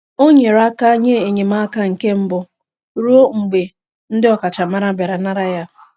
O nyere aka nye enyemaka nke mbụ ruo mgbe ndị ọkachamara bịara nara ya.